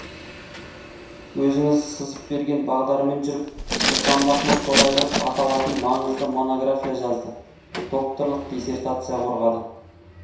өзіңіз сызып берген бағдармен жүріп сұлтанмахмұт торайғыров аталатын маңызды монография жазды докторлық диссертация қорғады